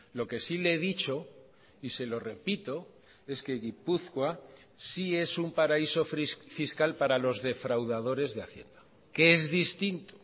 lo que sí le he dicho y se lo repito es que gipuzkoa sí es un paraíso fiscal para los defraudadores de hacienda que es distinto